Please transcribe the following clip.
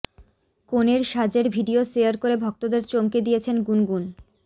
কনের সাজের video share করে ভক্তদের চমকে দিয়েছেন গুনগুন